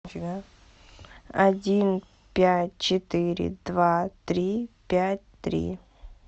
один пять четыре два три пять три